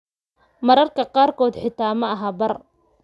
Mararka qaarkood, xitaa ma aha bar.